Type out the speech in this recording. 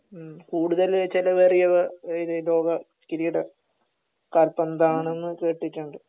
മ്മ്ഹ് കൂടുതല് ചെലവേറിയ ഇത് ലോക കിരീടം കാൽപന്താണെന്ന് കേട്ടിട്ടുണ്ട്